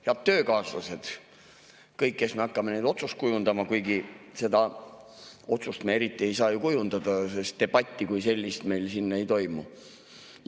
Head töökaaslased, kõik, kes me hakkame neid otsuseid kujundama, kuigi seda otsust me eriti ei saa ju kujundada, sest debatti kui sellist meil siin ei toimu!